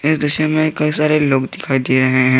इस तस्वीर में कई सारे लोग दिखाई दे रहे हैं।